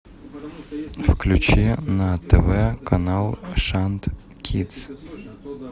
включи на тв канал шант кидс